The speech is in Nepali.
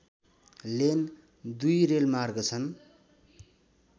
लेन दुई रेलमार्ग छन्